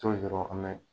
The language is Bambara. an bɛ